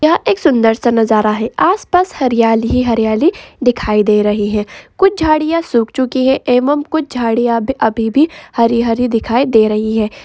यह एक सुंदर सा नजारा है आस-पास हरियाली ही हरियाली दिखाई दे रही है कुछ झाड़ियां सुख चुकी है एवं कुछ झाड़ियां अब अभी भी हरी-हरी दिखाई दे रही हैं।